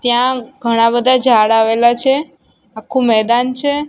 ત્યાં ઘણા બધા ઝાડ આવેલા છે આખુ મેદાન છે.